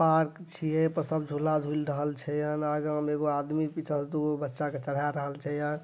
Park छिए ए सब झूला झूल रहे छे न एगो में एक आदमी पीछा तू बच्चा के डोरा रहाल छे।